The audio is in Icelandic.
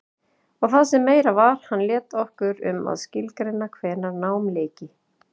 Og það sem meira var, hann lét okkur um að skilgreina hvenær námi lyki.